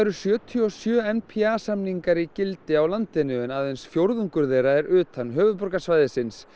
sjötíu og sjö n p a samningar í gildi á landinu en aðeins fjórðungur þeirra er utan höfuðborgarsvæðisins